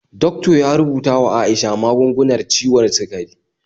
Doctor ya rubuta wa Aisha magungunar ciwon sikari